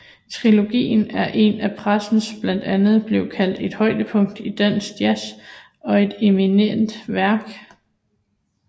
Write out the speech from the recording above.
Triologien er af pressen blandt andet blevet kaldt et højdepunkt i dansk jazz og et eminent værk